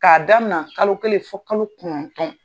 K'a daminɛ kalo kelen fɔ kalo kɔnɔntɔn.